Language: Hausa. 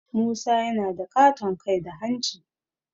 Musa yana da ƙaton kai da hanci